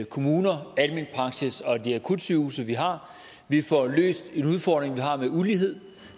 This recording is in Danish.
kommuner almen praksis og de akutsygehuse vi har vi får løst en udfordring vi har med ulighed